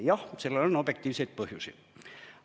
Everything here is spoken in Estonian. Jah, sellel on objektiivseid põhjusi.